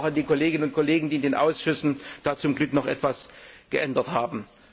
Dank also auch an die Kolleginnen und Kollegen, die in den Ausschüssen da zum Glück noch etwas geändert haben.